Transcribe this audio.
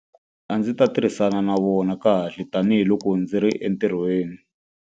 A ndzi ta tirhisana na vona kahle tanihiloko ndzi ri entirhweni.